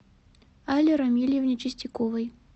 алле рамильевне чистяковой